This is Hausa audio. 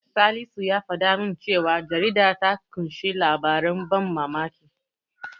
Salisu ya faɗa min cewa jaridar ta ƙunshi labaran ban mamaki.